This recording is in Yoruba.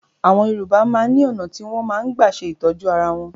Àwọn Yorùbá náà ni ọ̀nà tí wọn máa ń gbà ṣe ìtọ́jú ara wọn